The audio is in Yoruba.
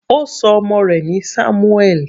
Ó ṣọ ọmọ rẹ̀ ní Samuel.